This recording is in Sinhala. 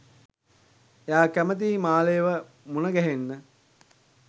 එයා කැමතියි මාලේව මුණ ගැහෙන්න